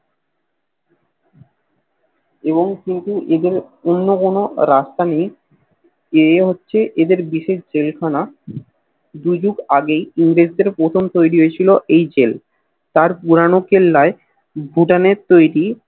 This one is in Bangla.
এবং কিন্তু এদের অন্য কোন রাস্তা নেই এ হচ্ছে এদের বিশেষ জেলখানা দু যুগ আগেই ইংরেজ দের প্রথম তৈরি হয়েছিল ঐ জেল আর পুরানো কেল্লায় ভুটানের তৈরি